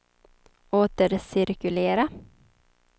återcirkulera